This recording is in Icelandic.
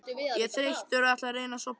Ég er þreyttur og ætla að reyna að sofna.